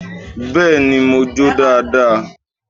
Beeni, mo jó dáadáa.